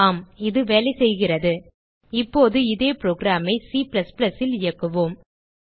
ஆம் இது வேலை செய்கிறது இப்போது இதே புரோகிராம் ஐ Cல் இயக்குவோம்